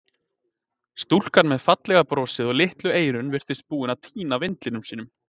Stúlkan með fallega brosið og litlu eyrun virtist búin að týna vindli sínum.